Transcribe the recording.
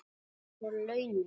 Og launin?